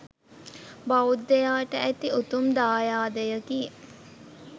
බෞද්ධයාට ඇති උතුම් දායාදයකි